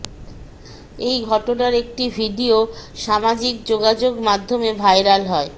এ ঘটনার একটি ভিডিও সামাজিক যোগাযোগ মাধ্যমে ভাইরাল হয়